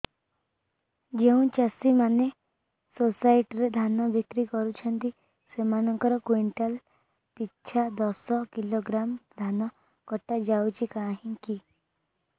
ଯେଉଁ ଚାଷୀ ମାନେ ସୋସାଇଟି ରେ ଧାନ ବିକ୍ରି କରୁଛନ୍ତି ସେମାନଙ୍କର କୁଇଣ୍ଟାଲ ପିଛା ଦଶ କିଲୋଗ୍ରାମ ଧାନ କଟା ଯାଉଛି କାହିଁକି